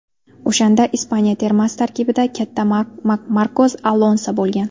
O‘shanda Ispaniya termasi tarkibida katta Markos Alonso bo‘lgan.